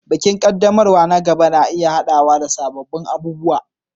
Bikin ƙaddamarwa na gaba na iya haɗawa da sabbin abubuwa.